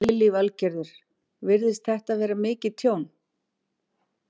Lillý Valgerður: Virðist þetta vera mikið tjón?